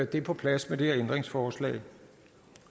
det på plads med det her ændringsforslag